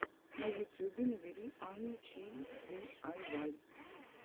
на ютюбе набери анну чи диайвай